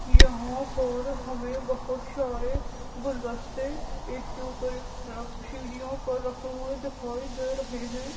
यहा पर हमे बहुत सारे गुलदस्ते एक के उपर एक रख सड़-सीढीयो पर रखे हुए दिखाई दे रहे है।